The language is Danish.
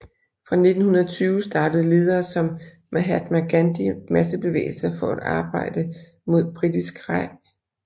Fra 1920 startede ledere som Mahatma Gandhi massebevægelser for at arbejde mod Britisk Raj